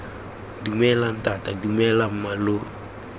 dumela ntata dumela mma lo